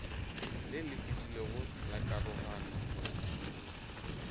le lefetilego la karogano go